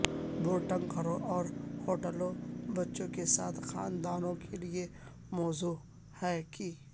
boarding گھروں اور ہوٹلوں بچوں کے ساتھ خاندانوں کے لئے موزوں ہیں کہ